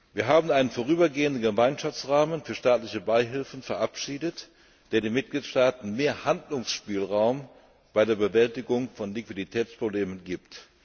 Wir haben den vorübergehenden Gemeinschaftsrahmen für staatliche Beihilfen verabschiedet, der den Mitgliedstaaten mehr Handlungsspielraum bei der Bewältigung von Liquiditätsproblemen gibt.